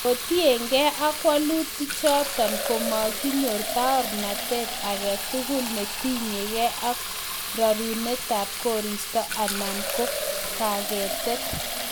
Kotien gee ak walutichoton ii komakinyor baornatet age tugul netinye gee ak rorunetab koristo anan ko kagetet.